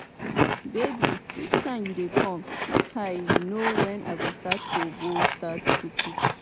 babe which time you dey come make i know when i go start to go start to cook